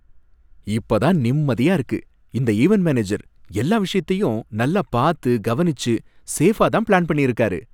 இப்பதான் நிம்மதியா இருக்கு! இந்த ஈவென்ட் மேனேஜர் எல்லா விஷயத்தையும் நல்லா பார்த்து கவனிச்சு சேஃபா தான் பிளான் பண்ணி இருக்காரு.